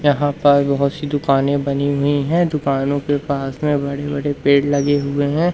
यहां पर बहुत सी दुकानें बनी हुई हैं दुकानों के पास में बड़े बड़े पेड़ लगे हुए हैं।